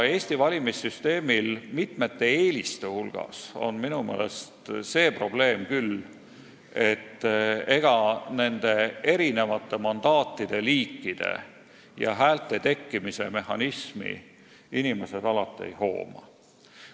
Eesti valimissüsteemil on mitmete eeliste kõrval minu meelest küll see probleem, et ega inimesed alati mandaatide liikide ja häälte tekkimise mehhanismi ei hooma.